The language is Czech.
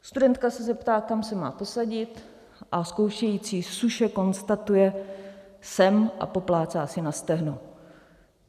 Studentka se zeptá, kam se má posadit, a zkoušející suše konstatuje: Sem - a poplácá si na stehno...